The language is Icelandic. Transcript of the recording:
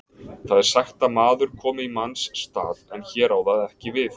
Það er sagt að maður komi í manns stað, en hér á það ekki við.